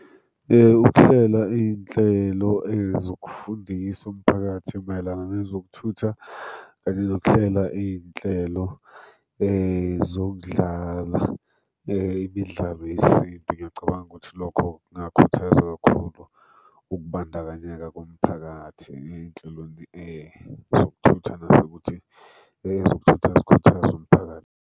Ukuhlela iy'nhlelo zokufundisa umphakathi mayelana nezokuthutha kanye nokuhlela iynhlelo zokudlala imidlalo yesintu, ngiyacabanga ukuthi lokho kungakhuthaza kakhulu ukubandakanyeka komphakathi ey'nhlelweni zokuthutha, nasekuthi ezokuthutha zikhuthaze umphakathi.